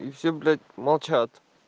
и все блять молчат